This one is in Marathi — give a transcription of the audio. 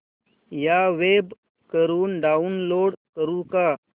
या वेब वरुन डाऊनलोड करू का